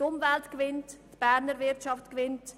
Die Umwelt gewinnt und die Berner Wirtschaft ebenfalls.